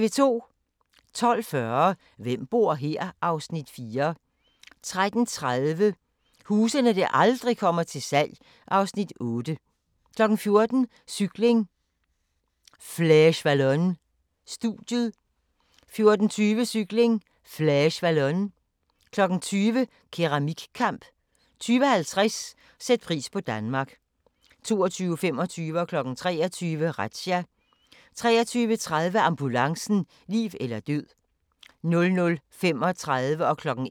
12:40: Hvem bor her? (Afs. 4) 13:30: Huse der aldrig kommer til salg (Afs. 8) 14:00: Cykling: Flèche Wallonne - studiet 14:20: Cykling: Flèche Wallonne 20:00: Keramikkamp 20:50: Sæt pris på Danmark 22:25: Razzia 23:00: Razzia 23:30: Ambulancen - liv eller død 00:35: Grænsepatruljen